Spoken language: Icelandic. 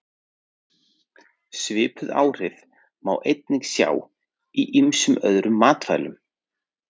Svipuð áhrif má einnig sjá í ýmsum öðrum matvælum.